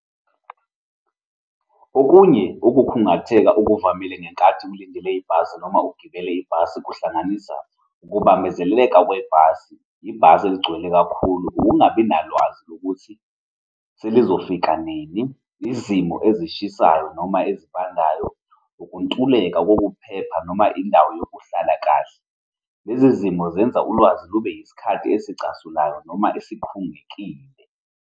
Okunye ukukhungatheka okuvamile ngenkathi kulindele ibhasi noma ugibele ibhasi, kuhlanganisa ukubambezeleka kwebhasi, ibhasi eligcwele kakhulu, ukungabi nalwazi lokuthi selizofika nini, izimo ezishisayo noma ezibandayo, ukuntuleka kokuphepha noma indawo yokuhlala kahle. Lezi zimo zenza ulwazi lube yisikhathi esicasulayo noma esikhungekile.